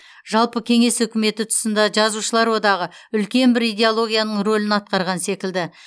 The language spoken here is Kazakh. жалпы кеңес үкіметі тұсында жазушылар одағы үлкен бір идеологияның рөлін атқарған секілді